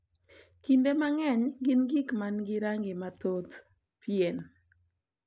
Kinde mang’eny gin gik ma nigi rangi mathoth, pien,